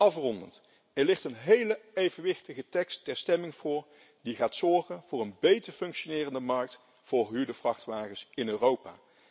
Afrondend er ligt een hele evenwichtige tekst ter stemming voor, die gaat zorgen voor een beter functionerende markt voor gehuurde vrachtwagens in Europa.